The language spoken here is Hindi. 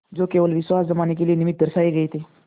जो केवल विश्वास जमाने के निमित्त दर्शाये गये थे